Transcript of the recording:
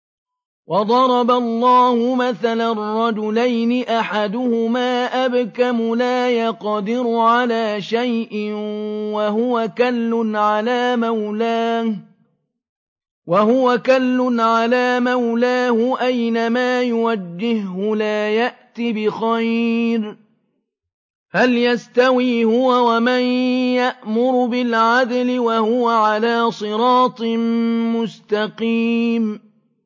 وَضَرَبَ اللَّهُ مَثَلًا رَّجُلَيْنِ أَحَدُهُمَا أَبْكَمُ لَا يَقْدِرُ عَلَىٰ شَيْءٍ وَهُوَ كَلٌّ عَلَىٰ مَوْلَاهُ أَيْنَمَا يُوَجِّههُّ لَا يَأْتِ بِخَيْرٍ ۖ هَلْ يَسْتَوِي هُوَ وَمَن يَأْمُرُ بِالْعَدْلِ ۙ وَهُوَ عَلَىٰ صِرَاطٍ مُّسْتَقِيمٍ